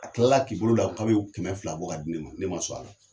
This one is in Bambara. A tila la k'i bolo don a kun k'a bɛ kɛmɛ fila bɔ ka di ne ma, ne ma sɔn a la!